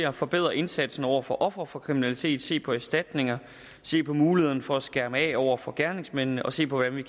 at forbedre indsatsen overfor ofre for kriminalitet se på erstatningerne se på mulighederne for at skærme af overfor gerningsmændene og se på hvordan vi